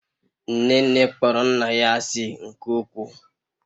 nnene kpọrọ nna ya asị nke ukwuu